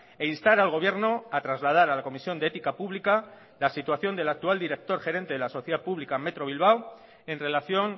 e instar al gobierno a trasladar a la comisión de ética pública la situación de la actual director gerente de la sociedad pública metro bilbao en relación